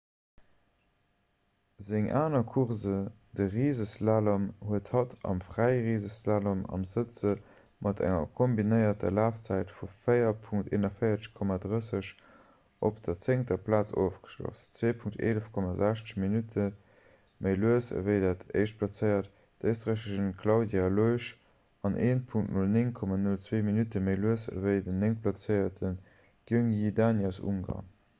seng aner course de riseslalom huet hatt am frae-riseslalom am sëtze mat enger kombinéierter lafzäit vu 4.41,30 op der zéngter plaz ofgeschloss 2.11,60 minutte méi lues ewéi dat éischtplazéiert d'éisträicherin claudia loesch an 1.09,02 minutte méi lues ewéi déi néngtplazéiert gyöngyi dani aus ungarn